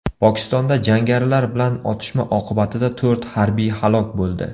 Pokistonda jangarilar bilan otishma oqibatida to‘rt harbiy halok bo‘ldi.